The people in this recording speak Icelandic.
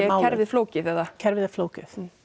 kerfið flókið eða kerfið er flókið